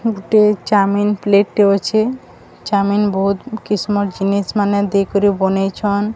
ଗୋଟେ chowmein plate ଟେ ଅଛେ। ଚାଓମିନି ବହୁତ୍ କିସମର ଜିନିଷମାନେ ଦେଇକରି ବନେଇଛନ୍।